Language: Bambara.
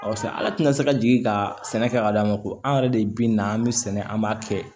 Sa ala tina se ka jigin ka sɛnɛ kɛ k'a d'a ma ko an yɛrɛ de bi na an bɛ sɛnɛ an b'a kɛ